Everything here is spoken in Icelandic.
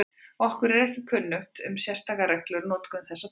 Okkur er ekki kunnugt um sérstakar reglur um notkun þessa tákns.